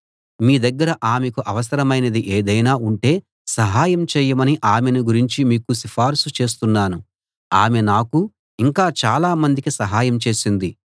మీ దగ్గర ఆమెకు అవసరమైనది ఏదైనా ఉంటే సహాయం చేయమని ఆమెను గురించి మీకు సిఫారసు చేస్తున్నాను ఆమె నాకు ఇంకా చాలామందికి సహాయం చేసింది